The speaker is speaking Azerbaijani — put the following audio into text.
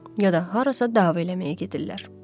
Ya da harasa dava eləməyə gedirlər.